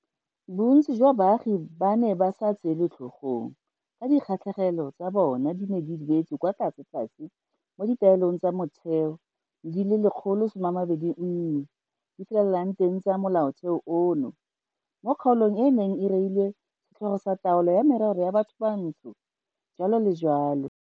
Bontsi jwa baagi ba ne ba sa tseelwe tlhogong ka dikgatlhegelo tsa bona di ne di beetswe kwa tlasetlase mo ditaelong tsa motheo di le 121 di felelang teng tsa Molaotheo ono, mo kgaolong e e neng e reilwe setlhogo sa Taolo ya Merero ya Bathobantsho, jalo le jalo.